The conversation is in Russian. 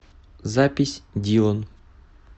запись дилан